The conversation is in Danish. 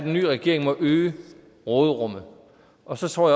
den nye regering må øge råderummet og så tror